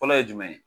Fɔlɔ ye jumɛn ye